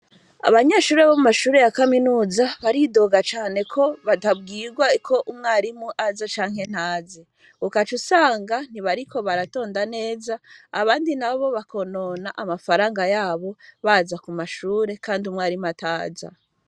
Abanyeshure bo mu mashure ya kaminuza baridoga cane ko batabwirwa iko umwarimu aza canke ntaze ukaca usanga ntibariko baratonda neza abandi na bo bakonona amafaranga yabo baza ku mashure, kandi umwarimu ataza.